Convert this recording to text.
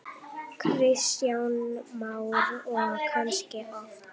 Kristján Már: Og kannski oft?